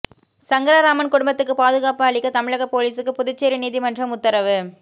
சங்கரராமன் குடும்பத்துக்கு பாதுகாப்பு அளிக்க தமிழக போலீசுக்கு புதுச்சேரி நீதிமன்றம் உத்தரவு